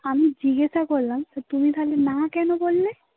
আমি জিজ্ঞাসা করলাম. তো তুমি খালি না কেন বললে